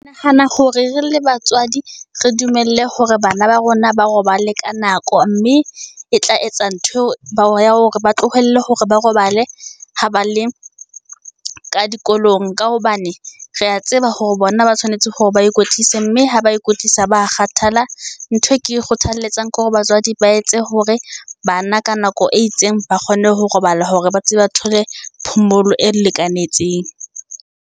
Nahana hore re le batswadi re dumelle hore bana ba rona ba robale ka nako, mme e tla etsa nthweo bao ya hore ba tlohelle hore ba robale ho ba le ka dikolong, ka hobane re ya tseba hore bona ba tshwanetse hore ba ikwetlise, mme ha ba ikwetlisa ba kgathala. Ntho e ke e kgothaletsang ke hore batswadi ba etse hore bana ka nako e itseng ba kgone ho robala, hore ba tsebe ba thole phomolo e lekanetseng.